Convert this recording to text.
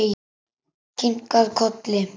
Kinkað kolli.